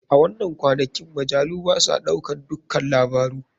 A wanan kwanakin majalu basa ɗaukan dukka labaru.